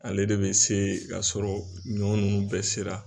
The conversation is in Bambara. Ale de bɛ se k'a sɔrɔ ɲɔ ninnu bɛɛ sera